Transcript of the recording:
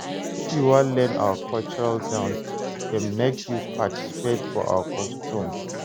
If you wan learn our cultural dance dem, make you participate for our custom.